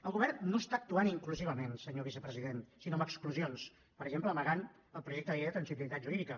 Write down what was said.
el govern no està actuant inclusivament senyor vicepresident sinó amb exclusions per exemple amagant el projecte de llei de transitorietat jurídica